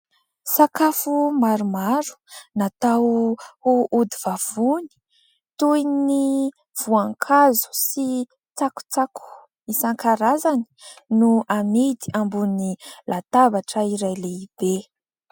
Sakafo maromaro natao ho odi vavony toy ny voankazo sy tsakotsako isan-karazany no amidy ambonin'ny latabatra iray lehibe